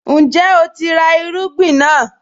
Ǹjẹ́ o ti ra àwọn irúgbìn náà?